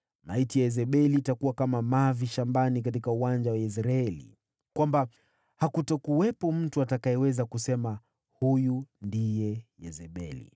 Maiti ya Yezebeli itakuwa kama mavi shambani katika uwanja wa Yezreeli, kwamba hakutakuwepo mtu atakayeweza kusema, ‘Huyu ndiye Yezebeli.’ ”